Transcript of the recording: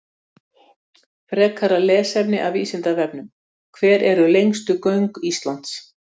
Frekara lesefni af Vísindavefnum: Hver eru lengstu göng Íslands?